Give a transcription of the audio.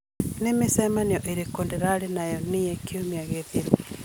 nĩ mĩcemanio ĩrĩkũ ndĩrarĩ nayo niĩ kiumia gĩthiru